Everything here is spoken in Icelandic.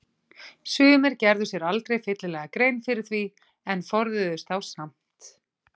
Sumir gerðu sér aldrei fyllilega grein fyrir því en forðuðust þá samt.